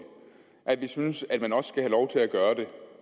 at vi synes at man også skal have lov til at gøre det